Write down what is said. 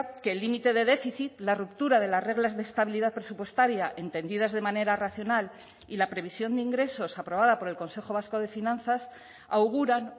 que el límite de déficit la ruptura de las reglas de estabilidad presupuestaria entendidas de manera racional y la previsión de ingresos aprobada por el consejo vasco de finanzas auguran